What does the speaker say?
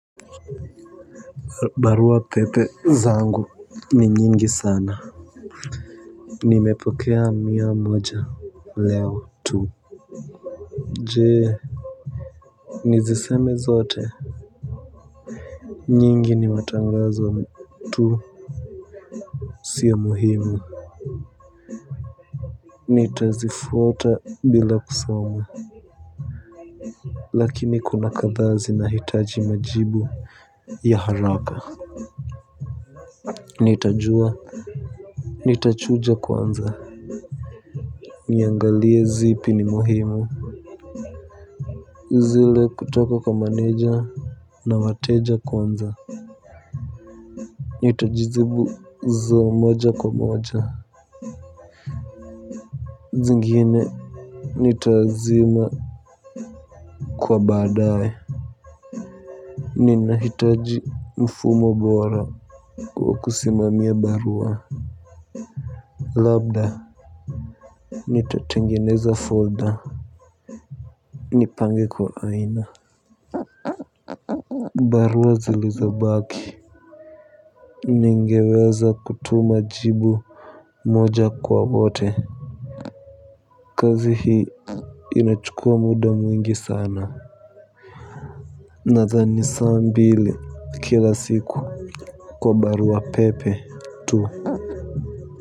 Barua pepe zangu ni nyingi sana. Nimepokea mia moja leo tu. Je nizisome zote. Nyingi ni matangazo tu. Siyo muhimu. Nitazifuta bila kusomu. Lakini kuna katha zinahitaji majibu ya haraka. Nitajua nitachuja kwanza niangalie zipi ni muhimu. Zile kutoka kwa maneja na wateja kwanza nitazijibu moja kwa moja. Zingine nitazima. Kwa badae ninahitaji mfumo bora wa kusimamia barua. Labda nitatengeneza folder. Nipange kwa aina. Barua zilizo baki ningeweza kutuma jibu moja kwa wote. Kazi hii inachukua muda mwingi sana. Nathani saa mbili kila siku kwa barua pepe tu.